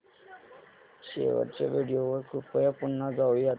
शेवटच्या व्हिडिओ वर कृपया पुन्हा जाऊयात